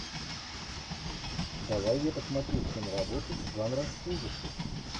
давай я посмотрю киноработу жанра ужасы